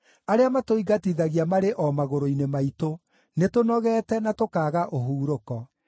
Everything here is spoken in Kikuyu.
Arĩa matũingatithagia marĩ o magũrũ-inĩ maitũ; nĩtũnogete, na tũkaaga ũhurũko.